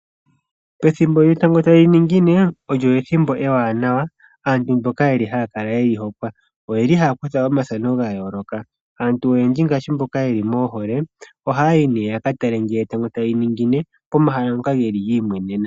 Pethimbo lyetango tali ningine. Olyo ethimbo ewanawa kaantu mboka haya kala yeli hokwa. Oyeli haya kutha omafano gayoloka. Aantu oyendji ngaashi mboka yeli moohole ohayi ne yaka tale ngele etango tali ningine pomahala ngoka geli meyi mweneneno.